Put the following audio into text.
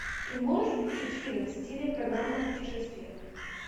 ты можешь включить фильм в стиле программа о путешествиях